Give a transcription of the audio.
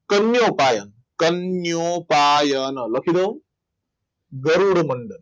કન્યો પાયન અન કન્યો પાયન લખી દઉં ગરુડ મંડક